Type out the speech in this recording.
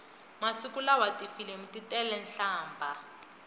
masiku lawa tifilimi ti tele nhlambha